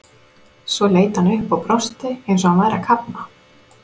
Svo leit hann upp og brosti eins og hann væri að kafna.